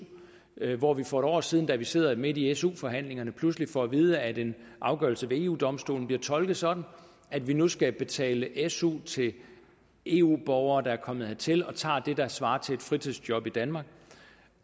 hvor vi for et år siden da vi sidder midt i su forhandlinger pludselig får at vide at en afgørelse ved eu domstolen bliver tolket sådan at vi nu skal betale su til eu borgere der er kommet hertil og tager det der svarer til et fritidsjob i danmark